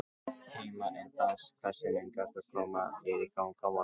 Heima er best Hversu lengi ertu að koma þér í gang á morgnanna?